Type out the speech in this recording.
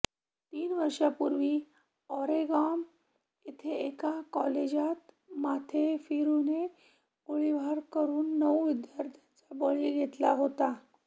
तीन वर्षांपूर्वी ओरेगॉन येथे एका कॉलेजात माथेफिरूने गोळीबार करून नऊ विद्यार्थ्यांचा बळी घेतला होता